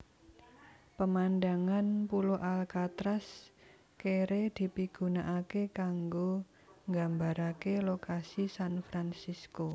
Pemandangan pulo Alcatraz kere dipigunakaké kanggo nggambaraké lokasi San Francisco